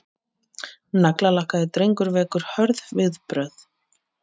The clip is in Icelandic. Naglalakkaður drengur vekur hörð viðbrögð